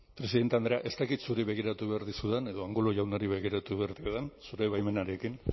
presidente andrea ez dakit zuri begiratu behar dizudan edo angulo jaunari begiratu behar diodan zure baimenarekin